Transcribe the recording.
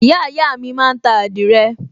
ìyáàyá mi máa ń ta àdìrẹ